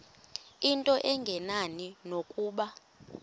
into engenani nokuba